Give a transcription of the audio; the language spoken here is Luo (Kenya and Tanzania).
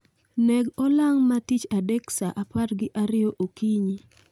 Neg olang' ma tich adek sa apar gi ariyo okinyi